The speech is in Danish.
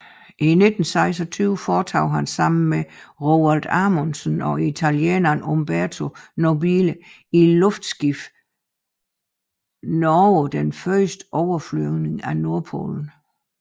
I 1926 foretog han sammen med Roald Amundsen og italieneren Umberto Nobile i luftskibet Norge den første overflyvning af Nordpolen